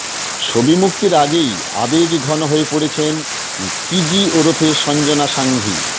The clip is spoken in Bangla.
ছবি মুক্তির আগেই আবেগঘন হয়ে পড়েছেন কিজি ওরফে সঞ্জনা সাঙ্ঘি